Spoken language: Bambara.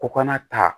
Ko kana ta